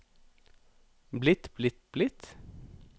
blitt blitt blitt